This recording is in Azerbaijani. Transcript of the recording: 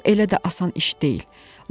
Bu elə də asan iş deyil.